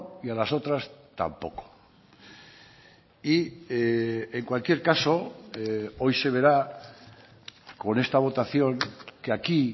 y a las otras tampoco y en cualquier caso hoy se verá con esta votación que aquí